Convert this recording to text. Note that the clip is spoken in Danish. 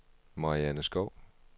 Marianne Skov